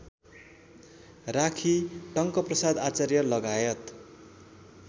राखी Tankaprasad आचार्यलगायत